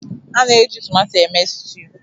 A na-eji tomato eme stew